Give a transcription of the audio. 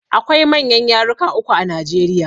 Akwai manyan yaruka uku a Najeriya